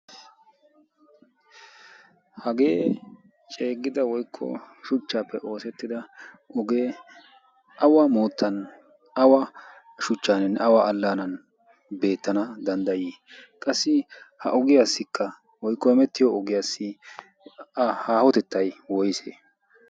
hagee ceeggida woykko shuchchaappe oosettida ogee awa moottan awa shuchchaann ne awa allaanan beettana danddayii qassi ha ogiyaassikka woykko ehmettiyo ogiyaassi haahotettay woyse